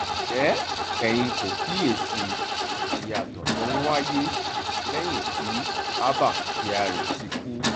ǹjẹ́ ẹ̀yin kò kíyèsí ìyàtọ̀ tó ń wáyé lẹ́yìn tí abba kyari ti kú